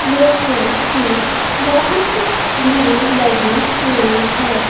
लोगों की बहुत भीड़ लगी हुई है।